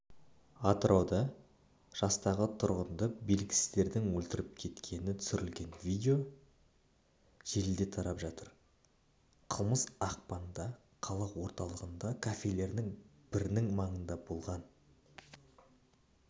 атырауда жастағы тұрғынды белгісіздердің өлтіріп кеткені түсірілген видео желіде тарап жатыр қылмыс ақпанда қала орталығындағы кафелердің бірінің маңында болған